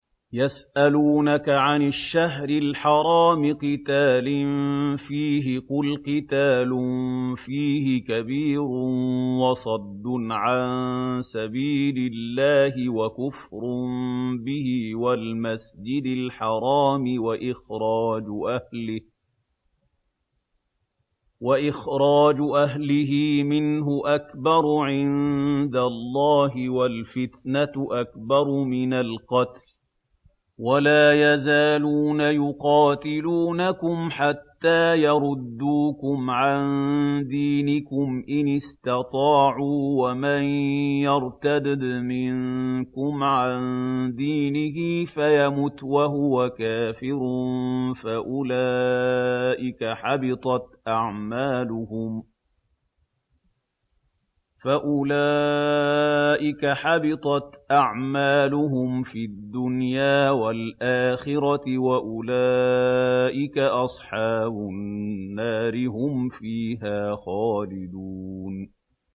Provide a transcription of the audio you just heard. يَسْأَلُونَكَ عَنِ الشَّهْرِ الْحَرَامِ قِتَالٍ فِيهِ ۖ قُلْ قِتَالٌ فِيهِ كَبِيرٌ ۖ وَصَدٌّ عَن سَبِيلِ اللَّهِ وَكُفْرٌ بِهِ وَالْمَسْجِدِ الْحَرَامِ وَإِخْرَاجُ أَهْلِهِ مِنْهُ أَكْبَرُ عِندَ اللَّهِ ۚ وَالْفِتْنَةُ أَكْبَرُ مِنَ الْقَتْلِ ۗ وَلَا يَزَالُونَ يُقَاتِلُونَكُمْ حَتَّىٰ يَرُدُّوكُمْ عَن دِينِكُمْ إِنِ اسْتَطَاعُوا ۚ وَمَن يَرْتَدِدْ مِنكُمْ عَن دِينِهِ فَيَمُتْ وَهُوَ كَافِرٌ فَأُولَٰئِكَ حَبِطَتْ أَعْمَالُهُمْ فِي الدُّنْيَا وَالْآخِرَةِ ۖ وَأُولَٰئِكَ أَصْحَابُ النَّارِ ۖ هُمْ فِيهَا خَالِدُونَ